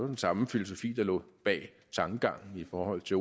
den samme filosofi der lå bag tankegangen i forhold til